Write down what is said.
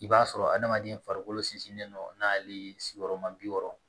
I b'a sɔrɔ adamaden farikolo sinsinnen don n'ale sigiyɔrɔ ma bi wɔɔrɔ